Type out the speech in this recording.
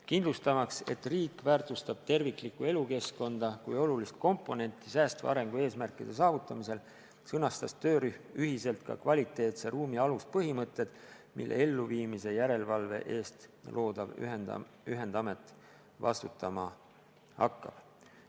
Kindlustamaks, et riik väärtustab terviklikku elukeskkonda kui olulist komponenti säästva arengu eesmärkide saavutamisel, sõnastas töörühm ühiselt ka kvaliteetse ruumi aluspõhimõtted, mille elluviimise järelevalve eest loodav ühendamet vastutama hakkab.